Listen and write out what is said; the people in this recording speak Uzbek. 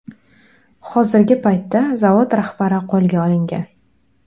Hozirgi paytda zavod rahbari qo‘lga olingan.